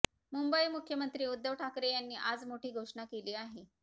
मुंबईः मुख्यमंत्री उद्धव ठाकरे यांनी आज मोठी घोषणा केली आहे